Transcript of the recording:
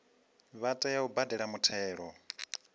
vha tea u badela muthelo